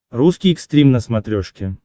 русский экстрим на смотрешке